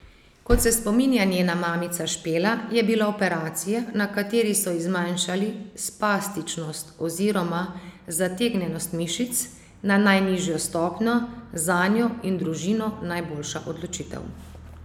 Kot se spominja njena mamica Špela, je bila operacija, na kateri so ji zmanjšali spastičnost oziroma zategnjenost mišic na najnižjo stopnjo, zanjo in družino najboljša odločitev.